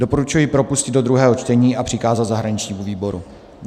Doporučuji propustit do druhého čtení a přikázat zahraničnímu výboru.